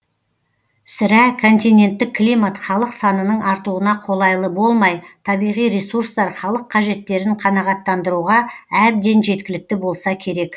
сірә континенттік климат халық санының артуына қолайлы болмай табиғи ресурстар халык қажеттерін қанағаттандыруға әбден жеткілікті болса керек